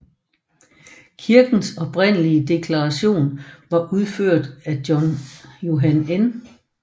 Kirkens oprindelige dekoration var udført af Johan N